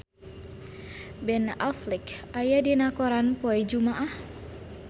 Ben Affleck aya dina koran poe Jumaah